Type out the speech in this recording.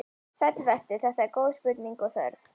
Sæll vertu, þetta eru góð spurning og þörf.